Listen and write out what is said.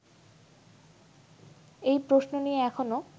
এই প্রশ্ন নিয়ে এখনো